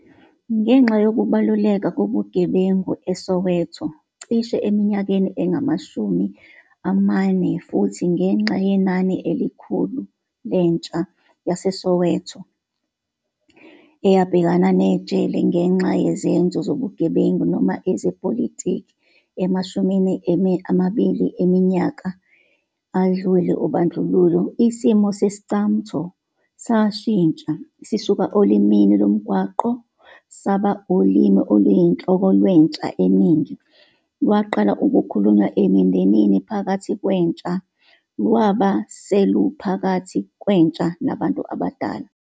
Ngenxa yokubaluleka kobugebengu eSoweto cishe eminyakeni engamashumi amane futhi ngenxa yenani elikhulu lentsha yaseSowetan eyabhekana nejele ngenxa yezenzo zobugebengu noma ezepolitiki emashumini amabili eminyaka adlule obandlululo, isimo se-Iscamtho sashintsha - sisuka olimini lomgwaqo, saba ulimi oluyinhloko lwentsha eningi, lwaqala ukukhulunywa emindenini phakathi kwentsha, lwabe seluphakathi kwentsha nabantu abadala.